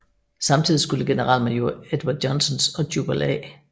Samtidig skulle generalmajor Edward Johnsons og Jubal A